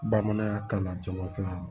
Bamananya kalan caman siran